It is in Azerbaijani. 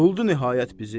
Buldu nihayət bizi.